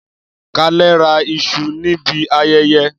Kalè ra isu nibi ayẹyẹ.